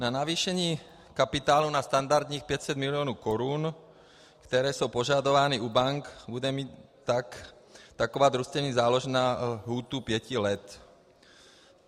Na navýšení kapitálu na standardních 500 milionů korun, které jsou požadovány u bank, bude mít taková družstevní záložna lhůtu pěti let.